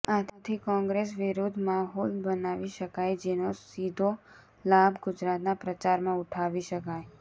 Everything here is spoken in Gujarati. આથી કોગ્રેસ વિરુધ્ધ માહોલ બનાવી શકાય જેનો સીધો લાભ ગુજરાતના પ્રચારમાં ઉઠાવી શકાય